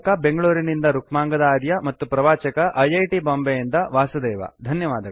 ಈ ಪಾಠದ ಅನುವಾದಕ ಬೆಂಗಳೂರಿನಿಂದ ರುಕ್ಮಾಂಗದ ಆರ್ಯ ಪ್ರವಾಚಕ ಐ ಐ ಟಿ ಬಾಂಬೆಯಿಂದ ವಾಸುದೇವ